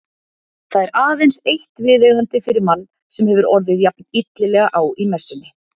Það er aðeins eitt viðeigandi fyrir mann sem hefur orðið jafn illilega á í messunni.